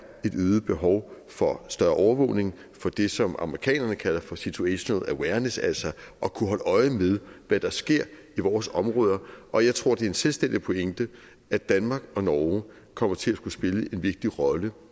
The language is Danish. et øget behov for større overvågning for det som amerikanerne kalder for situational awareness altså at kunne holde øje med hvad der sker i vores områder og jeg tror det er en selvstændig pointe at danmark og norge kommer til at skulle spille en vigtig rolle